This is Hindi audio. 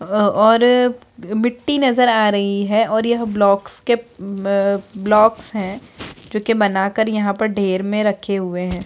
आ और मिट्टी नजर आ रही है और यह ब्लॉक्स के अ ब्लॉक्स है जो कि बना कर यहाँ पर ढेर में रखे हुए हैं।